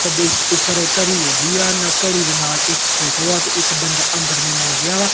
ਸੰਦੂਕ ਉੱਪਰ ਘਰੀ ਲੱਗੀ ਆ ਨਾ ਘੜੀ ਦੇ ਨਾਲ ਇੱਕ ਫੋਟੋ ਆ ਤੇ ਇੱਕ ਬੰਦਾ ਅੰਦਰ ਨੂੰ ਆਉਣ ਦਿਆ ਵਾ।